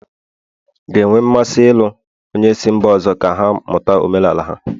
ga-enwe mmasị ịlụ onye si mba ọzọ ka ha mụta omenala ha